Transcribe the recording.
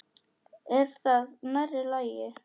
Er það nærri lagi?